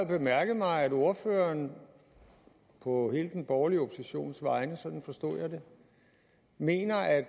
bemærket mig at ordføreren på hele den borgerlige oppositions vegne sådan forstod jeg det mener at